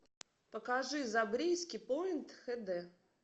покажи забриски пойнт хэ дэ